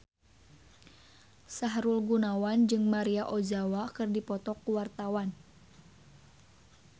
Sahrul Gunawan jeung Maria Ozawa keur dipoto ku wartawan